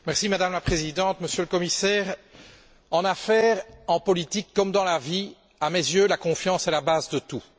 Madame la Présidente, Monsieur le Commissaire, en affaires, en politique, comme dans la vie à mes yeux la confiance est la base de tout.